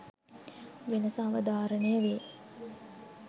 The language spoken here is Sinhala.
වෙනස අවධාරණය වේ.